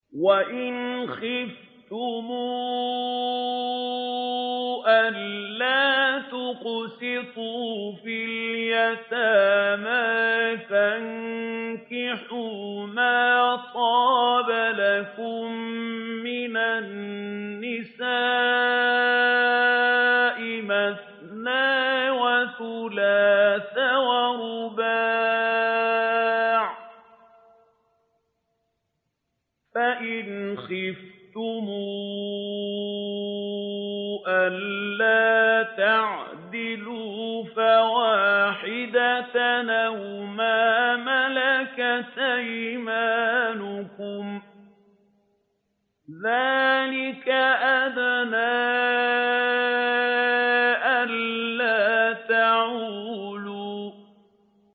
وَإِنْ خِفْتُمْ أَلَّا تُقْسِطُوا فِي الْيَتَامَىٰ فَانكِحُوا مَا طَابَ لَكُم مِّنَ النِّسَاءِ مَثْنَىٰ وَثُلَاثَ وَرُبَاعَ ۖ فَإِنْ خِفْتُمْ أَلَّا تَعْدِلُوا فَوَاحِدَةً أَوْ مَا مَلَكَتْ أَيْمَانُكُمْ ۚ ذَٰلِكَ أَدْنَىٰ أَلَّا تَعُولُوا